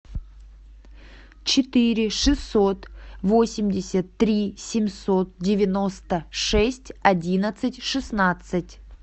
четыре шестьсот восемьдесят три семьсот девяносто шесть одиннадцать шестнадцать